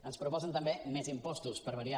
ens proposen també més impostos per variar